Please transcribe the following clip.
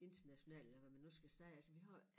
International eller hvad man nu skal sige altså vi har